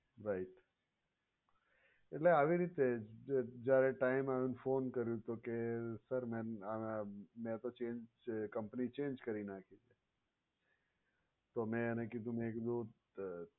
right એટલે આવી રીતે જ જ્યારે time આવે ને phone કર્યો તો કહે sir મે તો change કરી company change કરી નાખી. તો મે એને કીધું મે કીધું અ